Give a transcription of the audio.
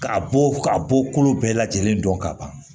Ka bɔ ka bɔ kolo bɛɛ lajɛlen dɔn ka ban